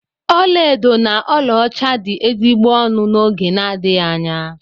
Ọlaedo na ọlaọcha dị ezigbo ọnụ n'oge n'adịghị anya.